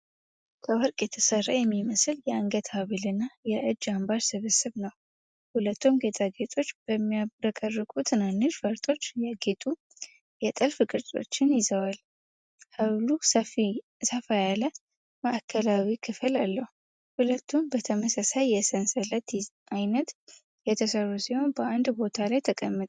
ከወርቅ የተሠራ የሚመስል የአንገት ሐብልና የእጅ አምባር ስብስብ ነው። ሁለቱም ጌጣጌጦች በሚያብረቀርቁ ትናንሽ ፈርጦች ያጌጡ የጥልፍ ቅርጾችን ይዘዋል። ሐብሉ ሰፋ ያለ የማዕከላዊ ክፍል አለው። ሁለቱም በተመሳሳይ የሰንሰለት ዓይነት የተሠሩ ሲሆኑ በአንድ ቦታ ላይ ተቀምጠዋል።